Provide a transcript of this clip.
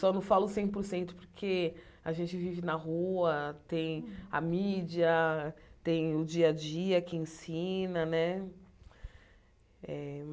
Só não falo cem por cento porque a gente vive na rua, tem a mídia, tem o dia-a-dia que ensina né eh.